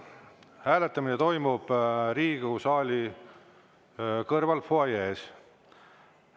Hääletamine toimub Riigikogu saali kõrval fuajees.